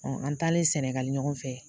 an taalen sɛnɛgali ɲɔgɔn fɛ